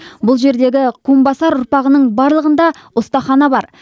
бұл жердегі кумбасар ұрпағының барлығында ұстахана бар